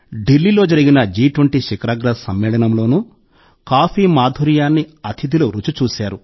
ఢిల్లీలో జరిగిన జి 20 శిఖరాగ్ర సమ్మేళనంలోనూ కాఫీ మాధుర్యాన్ని అతిథులు రుచి చూశారు